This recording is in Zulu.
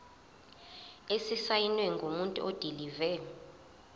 esisayinwe ngumuntu odilive